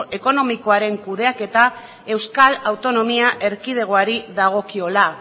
ekonomikoaren kudeaketa euskal autonomia erkidegoari dagokiola